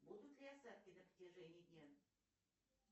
будут ли осадки на протяжении дня